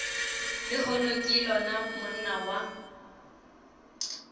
lehono ke lona monna wa